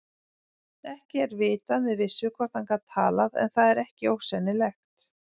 Ekki er vitað með vissu hvort hann gat talað en það er ekki ósennilegt.